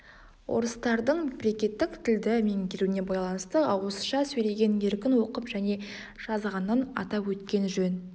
орыстардың мемлекеттік тілді меңгеруіне байланысты ауызша сөйлеген еркін оқып және жазғанын атап өткен жөн